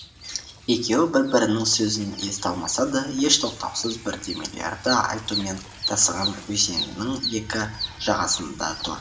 екеуі бір бірінің сөзін ести алмаса да еш тоқтаусыз бірдемелерді айтумен тасыған өзеннің екі жағасында тұр